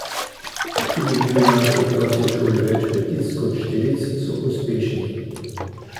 Če dobijo naši otroci v šoli več petic kot štiric, so uspešni.